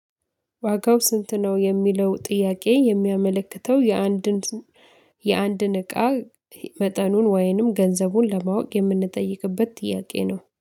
ዋጋው ስንት ነው? የሚለው ጥያቄ የሚያመለክተው የአንድን የአንድን እቃ መጠኑን ወይንም ገንዘቡን ለማወቅ የምንጠይቅበት ጥያቄ ነው